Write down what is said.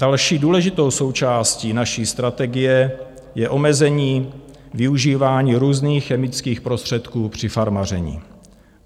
Další důležitou součástí naší strategii je omezení využívání různých chemických prostředků při farmaření.